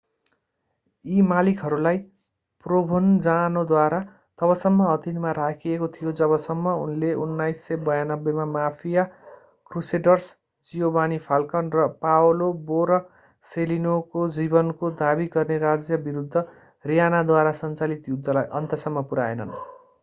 यी मालिकहरूलाई प्रोभेन्जानोद्वारा तबसम्म अधीनमा राखिएको थियो जबसम्म उनले 1992 मा माफिया क्रुसेडर्स जियोवानी फाल्कन र पाओलो बोरसेलिनोको जीवनको दाबी गर्ने राज्य विरूद्ध रीयनाद्वारा सञ्चालित युद्धलाई अन्त्यसम्म पुर्‍याएनन्।